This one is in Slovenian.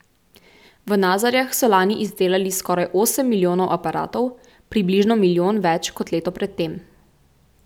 V Nazarjah so lani izdelali skoraj osem milijonov aparatov, približno milijon več kot leto pred tem.